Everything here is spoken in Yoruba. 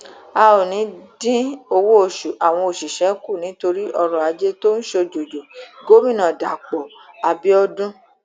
a ò ní í dín owóoṣù àwọn òṣìṣẹ kù nítorí ọrọajé tó ń ṣòjòjò gómìnà dapò abiodun